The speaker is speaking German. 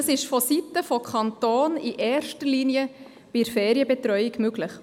Dies ist vonseiten des Kantons in erster Linie bei der Ferienbetreuung möglich.